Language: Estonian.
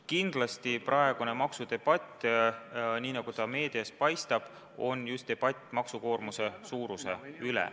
Kindlasti käib praegune maksudebatt, nii nagu ta meedias paistab, just maksukoormuse suuruse üle.